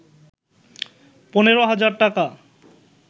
১৫,০০০ টাকা